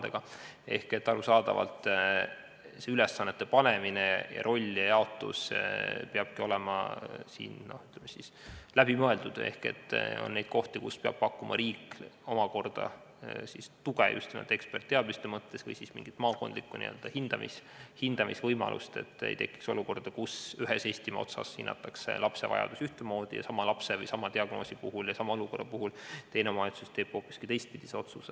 Seega on arusaadav, et ülesannete panemine ja rollijaotus peab olema läbi mõeldud – on kohti, kus riik peab pakkuma tuge just nimelt eksperditeadmistega või siis looma mingisuguse maakondliku hindamisvõimaluse, et ei tekiks olukorda, kus ühes Eestimaa otsas hinnatakse konkreetse diagnoosiga lapse vajadusi ühtemoodi ja teises omavalitsuses tehakse sama olukorra puhul hoopis teistpidine otsus.